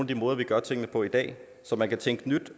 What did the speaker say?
de måder vi gør tingene på i dag så man kan tænke nyt